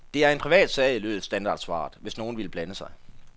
Det er en privatsag, lød standardsvaret, hvis nogen ville blande sig.